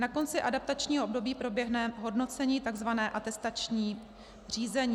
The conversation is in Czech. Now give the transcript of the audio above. Na konci adaptačního období proběhne hodnocení, tzv. atestační řízení.